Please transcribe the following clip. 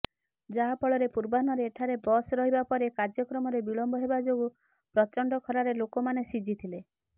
ଯାହାଫଳରେ ପୂର୍ବାହ୍ନରେ ଏଠାରେ ବସ୍ ରହିବା ପରେ କାର୍ଯ୍ୟକ୍ରମରେ ବିଳମ୍ବ ହେବାଯୋଗୁ ପ୍ରଚଣ୍ଡ ଖରାରେ ଲୋକମାନେ ସିଝିଥିଲେ